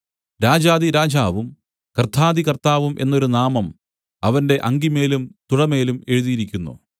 രാജാധിരാജാവും കർത്താധികർത്താവും എന്നൊരു നാമം അവന്റെ അങ്കിമേലും തുടമേലും എഴുതിയിരിക്കുന്നു